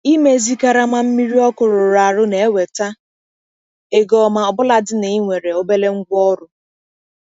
Ịmezi karama mmiri ọkụ rụrụ arụ na-eweta ego ọma ọbụlagodi na ị nwere obere ngwaọrụ.